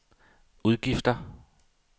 udgifter